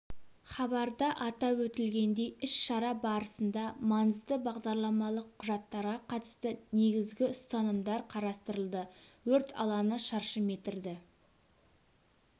хабарда атап өтілгендей іс-шара барысында маңызды бағдарламалық құжаттарға қатысты негізгі ұстанымдар қарастырылды өрт алаңы шаршы метрді